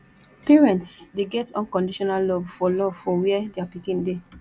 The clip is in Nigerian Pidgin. parents dey get unconditional love for love for where dia pikin dey